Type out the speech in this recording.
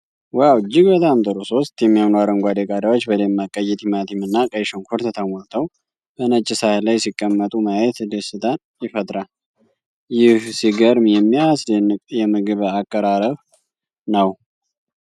ዋው! እጅግ በጣም ጥሩ! ሦስት የሚያምሩ አረንጓዴ ቃሪያዎች በደማቅ ቀይ ቲማቲም እና ቀይ ሽንኩርት ተሞልተው በነጭ ሳህን ላይ ሲቀመጡ ማየት ደስታን ይፈጥራል። ይህ ሲገርም የሚያስደንቅ የምግብ አቀራረብ ነው።